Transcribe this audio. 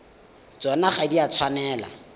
tsona ga di a tshwanela